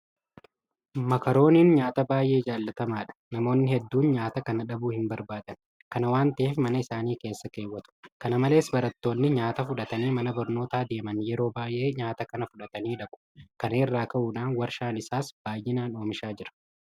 Mokorooniin nyaata baay'ee jaalatamaadha. Namoonni hedduun nyaata kana dhabuu hinbarbaadan. Kana waanta ta'eef mana isaanii keessa keewwatu. Kana malees barattoonni nyaata fudhatanii mana barnootaa deeman yeroo baay'ee nyaata kana fudhatanii dhaqu. Kana irraa ka'uudhaan warshaan isaas baay'inaan oomishaa jira.